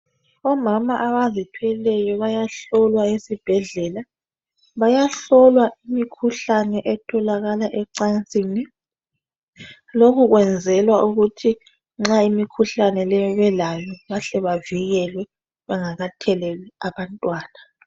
Omama abazithweleyo bayahlolwa esibhedlela, bayahlolwa imikhuhlane etholakala ecansini. Lokhu kwenzelwa ukuthi nxa imikhuhlane leyi belayo, bahle bavikelwe bengakatheleli abantwana.